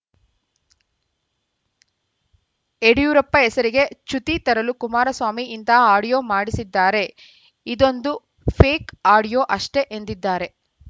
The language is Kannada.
ಯಡಿಯೂರಪ್ಪ ಹೆಸರಿಗೆ ಚ್ಯುತಿ ತರಲು ಕುಮಾರಸ್ವಾಮಿ ಇಂತಹ ಆಡಿಯೋ ಮಾಡಿಸಿದ್ದಾರೆ ಇದೊಂದು ಫೇಕ್‌ ಆಡಿಯೋ ಅಷ್ಟೇ ಎಂದಿದ್ದಾರೆ